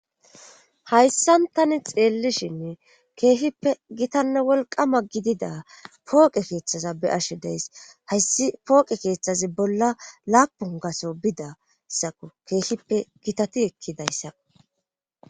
Hayssan tani xeellishinne keehippe gitanne wolqama gidida pooqe keeththaza be ashe deys hayssi pooqe keeththazi bolla laapun gaso bidassako keehippe gitati ekkidayssako